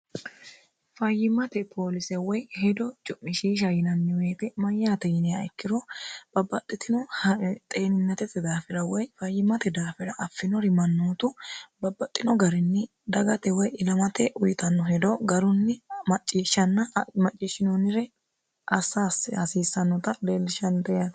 fayyimmate poolise woy hedo cu'mishiisha yinanni woyte mayyaate yiniha ikkiro babbaxxitino xeeninatete daafira woy fayyimate daafira affinori mannootu babbaxxino garinni dagate woy ilamate uyitanno hedo garunni macciishshanna macciishshinoonnire assaasse hasiissannota eellishannte yate